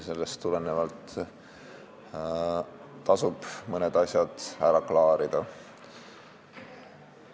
Sellest tulenevalt tasub mõned asjad ära klaarida.